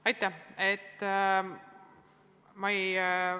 Aitäh!